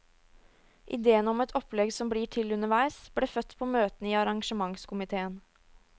Ideen om et opplegg som blir til underveis, ble født på møtene i arrangementskomitéen.